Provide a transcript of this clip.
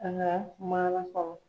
An ka maana kɔrɔ.